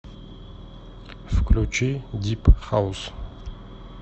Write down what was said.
включи дип хаус